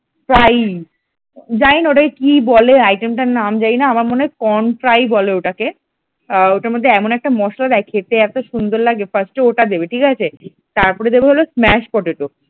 fry জানি না ওটাকে কী বলে item তার নাম জানিনা আমার মনে হয় corn fry বলে ওটাকে ওটার মধ্যে এমন একটা মসলা দেয় খেতে এত সুন্দর লাগে first ওটা দেবে ঠিক আছে তারপরে দেবে হলো smashed potato ।